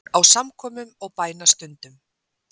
Á samkomum og bænastundum.